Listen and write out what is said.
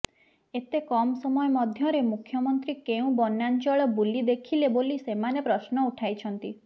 ଏତେ କମ୍ ସମୟ ମଧ୍ୟରେ ମୁଖ୍ୟମନ୍ତ୍ରୀ କେଉଁ ବନ୍ୟାଞ୍ଚଳ ବୁଲିଦେଖିଲେ ବୋଲି ସେମାନେ ପ୍ରଶ୍ନ ଉଠାଇଛନ୍ତି